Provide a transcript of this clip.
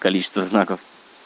количество знаков